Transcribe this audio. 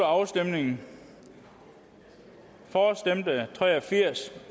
afstemningen for stemte tre og firs